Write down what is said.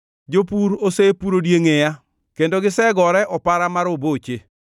Jopur osepuro diengʼeya kendo gisegore opara ma roboche,